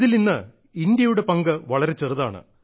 ഇതിൽ ഇന്ന് ഇന്ത്യയുടെ പങ്ക് വളരെ ചെറുതാണ്